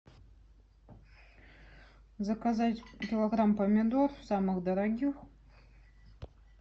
заказать килограмм помидор самых дорогих